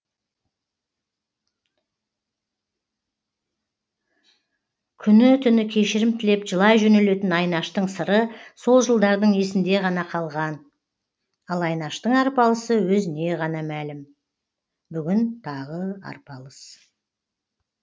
күні түні кешірім тілеп жылай жөнелетін айнаштың сыры сол жылдардың есінде ғана қалған ал айнаштың арпалысы өзіне ғана мәлім бүгін тағы арпалыс